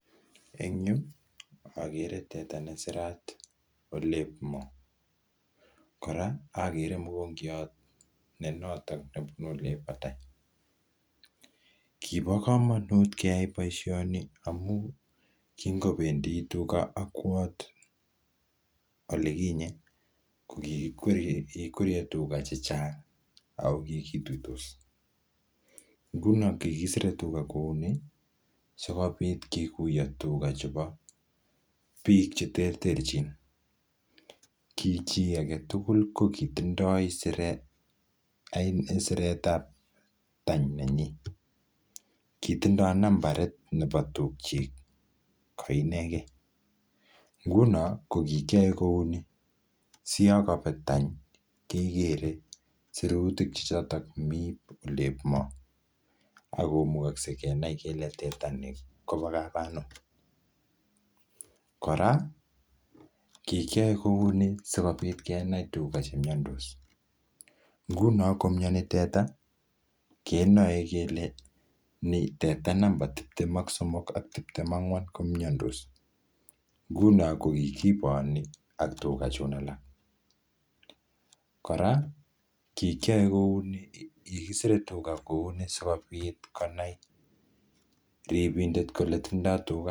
Eng yu, agere teta ne sirat olep moo. Kora, agere mogongiot ne notok nebunu olep batai. Kibo komonut keyai boisoni amuu, kingobendi tuga akwot olekinye, ko kikiwerie, kikiwerie tuga chechang'. Ako kikituitos. Nguno kikisire tuga kouni, sikobit kikuyo tuga chebo biik che terterchin. Ki chii agetugul ko kitindoi siret, um siretab tany nenyi. Kitindoi nambarit nebo tukchik ko ineke. Nguno ko kikiyae kouni, siyakabet tany kekere sirutik che chotok mii olep moo. Akomugakse kenai kole teta nii kobo kap anum. Kora, kikiyae kouni sikobit kenai tuga chemyandos. Nguno komyani teta, kenae kele ni teta namba titem ak somok ak tiptem angwan komyandos. Nguno kikiboni ak tuga chun alak. Kora kikyae kouni, kikisire tuga kouni sikobit konai ribindet kole tindoi tuga